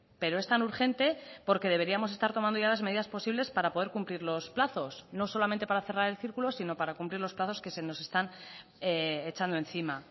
pero es tan urgente porque deberíamos estar tomando ya las medidas posibles para poder cumplir los plazos no solamente para cerrar el círculo sino para cumplir los plazos que se nos están echando encima